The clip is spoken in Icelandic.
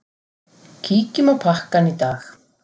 Kíkjum á pakkann í dag.